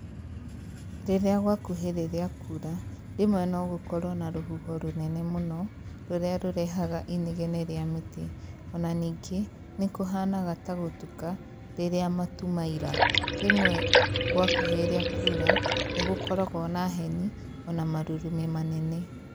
Rĩrĩa gwakuhĩrĩria kuura, rĩmwe nogũkorwo na rũhuho rũnene mũno, rũrĩa rũrehaga inegene rĩa mĩtĩ, ona ningĩ nĩkũhanaga ta gũtuka rĩrĩa matu maira. Rĩmwe gwakuhĩrĩria kuura, nĩgũkoragwo na heni ona marurumi manene.